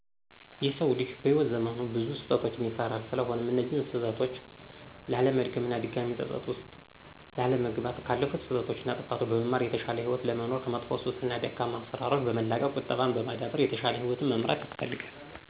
የሰው ልጅ በህይዎት ዘመኑ ብዙ ስህተቶችን ይሰራል ስለሆነም እነዚያን ስህተቶች ላለመድገም እና ድጋሜ ፀፀት ውስጥ ላለመግባት ካለፉት ስህተቶች እና ጥፋቶች በመማር የተሻለ ህይወት ለመኖር ከመጥፎ ሱስ እና ደካማ አሰራሮችን በመላቀቅ ቁጠባን በማዳበር የተሻለ ህይወትን መምራት ያስፈልጋል።